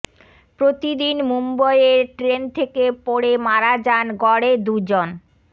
প্রতিদিন মুম্বইয়ের ট্রেন থেকে পড়ে মারা যান গড়ে দুজন